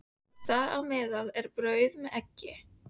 Þar á meðal er brauð með eggi.